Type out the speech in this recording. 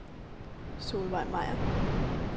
Solvejg Meyer